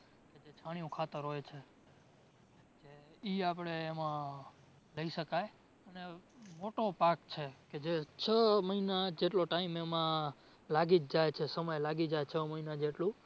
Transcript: જે છાણિયું ખાતર હોય છે ઇ આપડે એમાં લઈ શકાય અને મોટો પાક છે કે જે છ મહિના જેટલો time એમાં લાગી જ જાય છે સમય લાગી જાય છ મહિના જેટલું